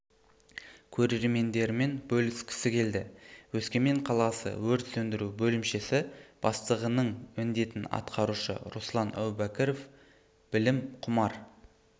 көрермендерімен бөліскісі келді өскемен қаласы өрт сөндіру бөлімшесі бастығының міндетін атқарушы руслан әубәкіров білім құмар